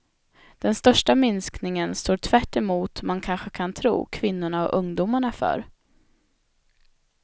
Den största minskningen står tvärtemot man kanske kan tro kvinnorna och ungdomarna för.